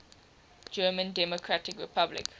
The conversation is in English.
german democratic republic